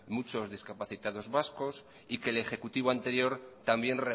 muchos discapacitados vascos y que el ejecutivo anterior también